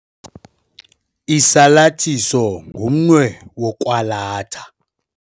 Isalathiso ngumnwe wokwalatha.